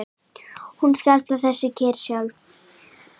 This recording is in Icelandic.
Hún skapar þessa kyrrð sjálf.